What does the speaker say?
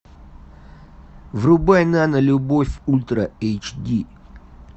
врубай нано любовь ультра эйч ди